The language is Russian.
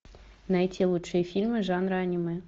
найти лучшие фильмы жанра аниме